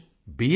Modi ji B